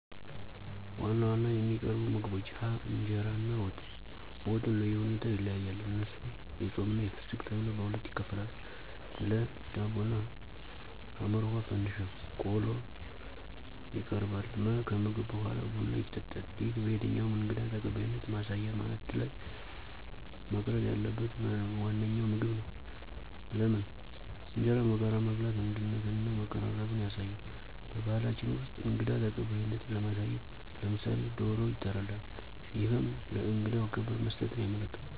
1. ዋና ዋና የሚቀርቡ ምግቦች ሀ. እንጀራ እና ወጥ፦ ወጡ እንደሁኔታው ይለያያል እነሱም የፆምና የፍስክት ተብለው በሁለት ይከፈላሉ ለ. ዳቦ እና ሐ. ፈንድሻ ቆሎ ይቀርባል መ. ከምግብ በሗላ ቡና ይጠጣል ይህ በየትኛውም እንግዳ ተቀባይነት ማሳያ ማዕድ ላይ መቅረብ ያለበት ዋነኛው ምግብ ነው። * ለምን? እንጀራን በጋራ መብላት አንድነትንና መቀራረብን ያሳያል። *በባህላችን ውስጥ እንግዳ ተቀባይነትን ለማሳየት *ለምሳሌ፦ ዶሮ ይታረዳል እሄም ለእንግዳው ክብር መስጠትን ያመለክታል።